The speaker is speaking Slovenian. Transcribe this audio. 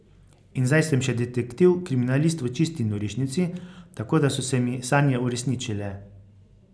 In zdaj sem še detektiv kriminalist v Čisti norišnici, tako da so se mi sanje uresničile.